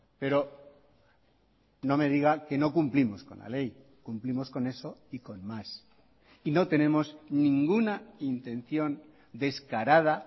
pero no me diga que no cumplimos con la ley cumplimos con eso y con más y no tenemos ninguna intención descarada